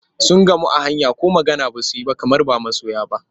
Sun gamu a hanya ko magana ba su yi ba kamar ba masoya ba.